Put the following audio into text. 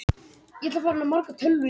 Elliðahvammi